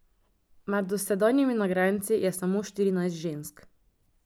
Med dosedanjimi nagrajenci je samo štirinajst žensk.